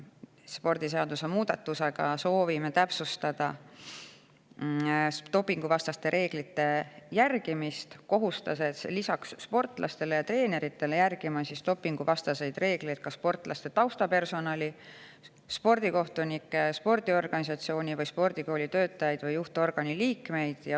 Spordiseaduse muutmisega soovime täpsustada dopinguvastaste reeglite järgimist, kohustades lisaks sportlastele ja treeneritele neid järgima ka sportlaste taustapersonali, spordikohtunikke ja spordiorganisatsiooni, spordikooli töötajaid ja juhtorgani liikmeid.